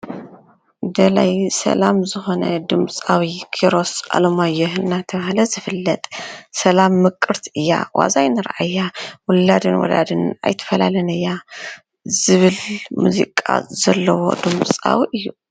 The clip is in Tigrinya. ደላዪ ሰላም ዝኾነ ድምፃዊ ኪሮስ አለማየሁ እናተባሃለ ዝፍለጥ ሰላም ምቅርቲ እያ ብዋዛ አይንርአያ ውላድን ወላድን ኣይትፈላልን እያ ዝብል ሙዚቃ ዘለዎ ድምፃዊ እዩ።